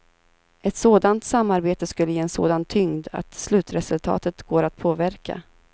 Ett sådant samarbete skulle ge en sådan tyngd att slutresultatet går att påverka.